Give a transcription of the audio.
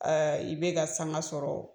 Ɛɛ i bɛ ka sanga sɔrɔ.